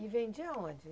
E vendia aonde?